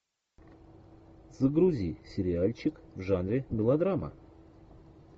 загрузи сериальчик в жанре мелодрама